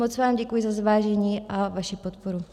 Moc vám děkuji za zvážení a vaši podporu.